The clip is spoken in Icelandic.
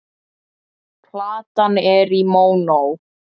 Platan er í mónó.